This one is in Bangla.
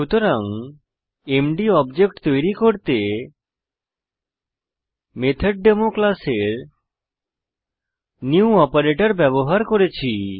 সুতরাং এমডি অবজেক্ট তৈরী করতে মেথডেমো ক্লাসের নিউ অপারেটর ব্যবহার করেছি